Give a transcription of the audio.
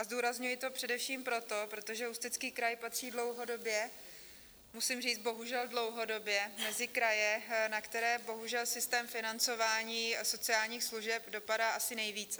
A zdůrazňuji to především proto, protože Ústecký kraj patří dlouhodobě, musím říct bohužel dlouhodobě, mezi kraje, na které bohužel systém financování sociálních služeb dopadá asi nejvíce.